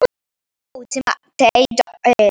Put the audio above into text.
Þriðja útgáfa.